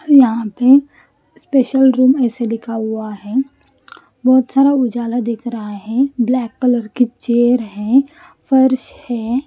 यहाँ पे special room A C लिखा हुआ है बहुत सारा उजाला दिख रहा है ब्लैक कलर की चेयर है फर्श है --